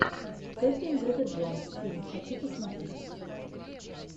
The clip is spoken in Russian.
кетрин зета джонс фильм хочу посмотреть